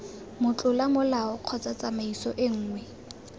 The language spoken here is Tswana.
motlola molao kgotsa tsamaiso nngwe